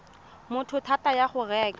motho thata ya go reka